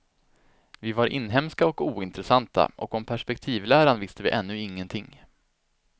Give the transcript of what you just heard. Vi var inhemska och ointressanta och om perspektivläran visste vi ännu ingenting.